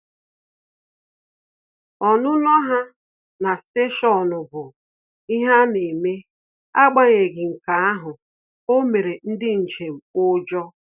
Ọnụnọ ha na stationu bụ ihe ana eme, agbanyeghi nke ahụ, o mere ndị njem ujọ